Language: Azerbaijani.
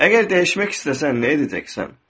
Əgər dəyişmək istəsən, nə edəcəksən?